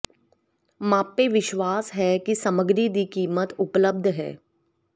ਮਾਪੇ ਵਿਸ਼ਵਾਸ ਹੈ ਕਿ ਸਮੱਗਰੀ ਦੀ ਕੀਮਤ ਉਪਲਬਧ ਹੈ